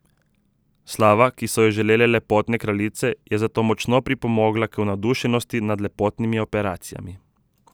Slava, ki so jo žele lepotne kraljice, je zato močno pripomogla k navdušenosti nad lepotnimi operacijami.